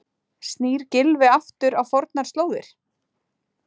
Snýr Gylfi aftur á fornar slóðir?